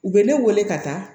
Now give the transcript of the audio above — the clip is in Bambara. U bɛ ne wele ka taa